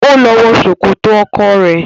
Ó lọ wọ Sòkòtò ọkọ rẹ.